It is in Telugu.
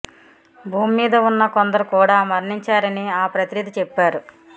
భూమి మీద ఉన్న కొందరు కూడా మరణించారని ఆ ప్రతినిధి చెప్పారు